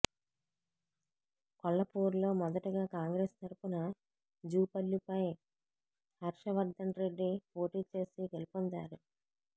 కొల్లపూర్లో మొదటగా కాంగ్రెస్ తరఫున జూపల్లిపై హర్షవర్థన్రెడ్డి పోటీ చేసి గెలుపొందారు